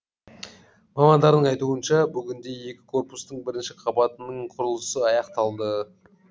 мамандардың айтуынша бүгінде екі корпустың бірінші қабатының құрылысы аяқталды